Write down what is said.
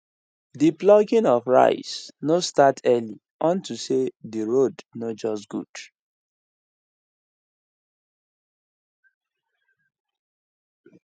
the plucking of rice no start early unto say the road no just good